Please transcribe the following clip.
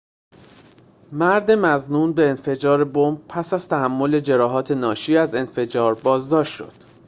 مرد مظنون به انفجار بمب پس از تحمل جراحات ناشی از انفجار بازداشت شد